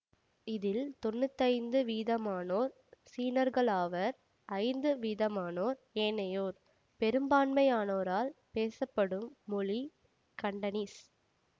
இதில் தொன்னூற்தி ஐந்து வீதமானோர் சீனர்களாவர் ஐந்து வீதமானோரே ஏனையோர் பெரும்பான்மையானோரால் பேசப்படும் மொழி கண்டனீஸ்